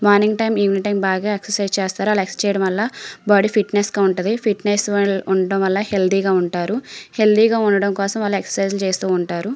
morning time evening time బాగా exercise చేస్తుంటారు ఆలా ఎక్స్ర్కిప్స్ చేయటం వాళ్ళ బాడీ ఫిట్ గ ఉంటది హెల్త్య్ గ ఉంటారు ఆలా ఎక్స్ర్కిప్స్ చేయటం వాళ్ళ --